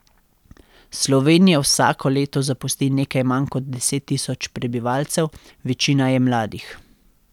Slovenijo vsako leto zapusti nekaj manj kot deset tisoč prebivalcev, večina je mladih.